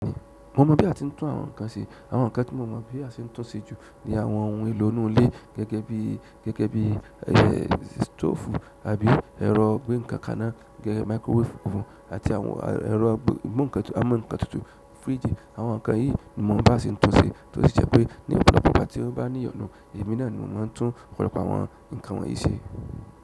Mo mọ̀ bí a ti ń tún àwọn nǹkan ṣe. Àwọn nǹkan tí mo mọ̀ bí a ṣe ń tún ṣe jù ni àwọn ohun èlò inú ilé gẹ́gẹ́ bí, gẹ́gẹ́ bí, ẹ̀, stove àbí ẹ̀rọ ìgbé nǹkan ká ná, gẹ́gẹ́ microwave fún, àti àwọn ẹ̀rọ mú nǹkan tú, á mú nǹkan tutù, fridge. Àwọn nǹkan yìí mo mọn bí àá se ń tún ṣe tó dẹ̀ jé pé ní ọ̀pọ̀lọpọ̀ ìgbà tí o bá ní ìyọnu èmi náà ni mo máa ń tún ọ̀pọ̀lọpọ̀ àwọn nǹkan wọ̀nyìí ṣe.